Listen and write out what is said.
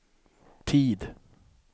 tid